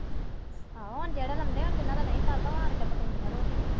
ਆਹੋ ਹੁਣ ਜਿਹੜੇ ਬੰਦੇ ਜਿਹਨਾਂ ਦਾ ਨਹੀਂ ਸਰਦਾ ਉਹ ਆਉਣ ਕੇ ਪਕਾਉਂਦੀਆਂ ਰੋਟੀ।